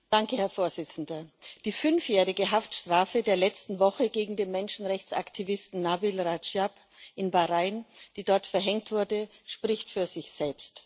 Herr Präsident! Die fünfjährige Haftstrafe der letzten Woche gegen den Menschenrechtsaktivisten Nabil Radschab in Bahrain, die dort verhängt wurde, spricht für sich selbst.